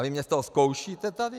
A vy mě z toho zkoušíte tady?